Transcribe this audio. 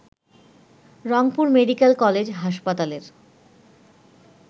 Rangpur medical college হাসপাতালের